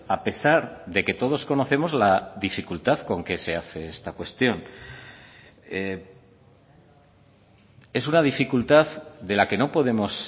a pesar de que todos conocemos la dificultad con que se hace esta cuestión es una dificultad de la que no podemos